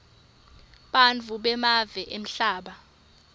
nebantfu bemave emhlaba